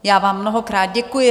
Já vám mnohokrát děkuji.